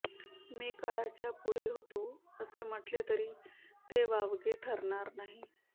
मी काळाच्या पुढे होतो असे म्हटले तरी ते वावगे ठरणार नाही